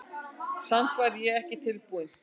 Samt var ég ekki tilbúinn.